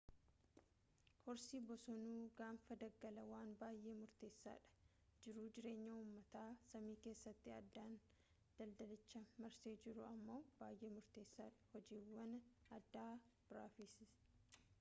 horsii bosonuu gaanfa daggalaa waan baayee murteessaadha jiruu-jireenya uummata saamii keessatti aadaan daldalicha marsee jiru ammoo baayee murteessa dha hojiiwwan adda biraafis